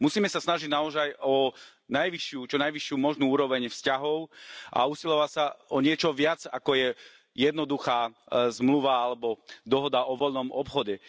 Musíme sa snažiť naozaj o najvyššiu, čo najvyššiu možnú úroveň vzťahov a usilovať sa o niečo viac, ako je jednoduchá zmluva alebo dohoda o voľnom obchode.